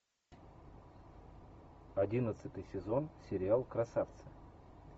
одиннадцатый сезон сериал красавцы